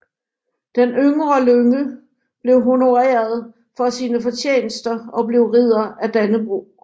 Den yngre Lynge blev honoreret for sine fortjenester og blev Ridder af Dannebrog